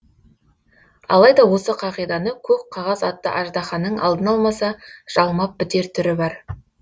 алайда осы қағиданы көк қағаз атты аждаханың алдын алмаса жалмап бітер түрі бар